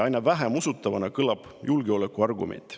Aina vähem usutavana kõlab julgeolekuargument.